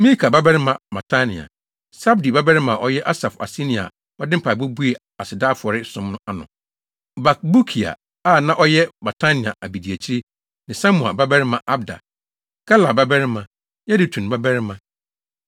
Mika babarima Matania, Sabdi babarima a ɔyɛ Asaf aseni a ɔde mpaebɔ buee aseda afɔre som ano; Bakbukia a na ɔyɛ Matania abediakyiri ne Samua babarima Abda, Galal babarima, Yedutun babarima.